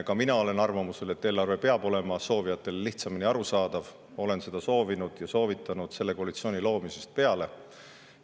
Ka mina olen arvamusel, et eelarve peab olema soovijatele lihtsamini arusaadav, olen seda soovinud ja soovitanud selle koalitsiooni loomisest peale.